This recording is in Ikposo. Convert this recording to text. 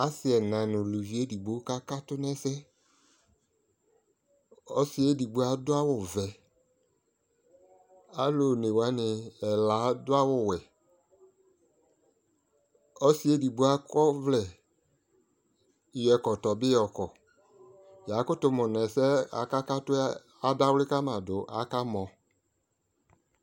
asii ɛla nʋ ʋlʋvi ɛdigbɔ kʋaka katʋ nʋ ɛsɛ, ɔsiiɛ ɛdigbɔ adʋ awʋ vɛ, alʋɔnɛ wani ɛla adʋ awʋ wɛ, ɔsiiɛ ɛdigbɔ akɔ ɔvlɛ yɔ ɛkɔtɔ bi yɔkɔ, yakʋtʋ mʋnʋ ɛsɛ aka katʋɛ adawli kama dʋ aka mɔ